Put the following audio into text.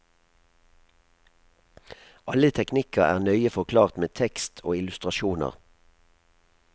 Alle teknikker er nøye forklart med tekst og illustrasjoner.